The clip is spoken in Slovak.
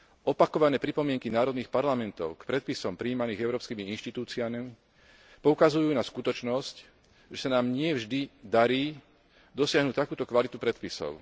Opakované pripomienky národných parlamentov k predpisom prijímaným európskymi inštitúciami poukazujú na skutočnosť, že sa nám nie vždy darí dosiahnuť takúto kvalitu predpisov.